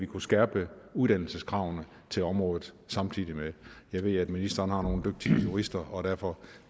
kunne skærpe uddannelseskravene til området jeg ved at ministeren har nogle dygtige jurister og derfor